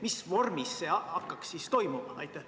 Mis vormis see hakkaks toimuma?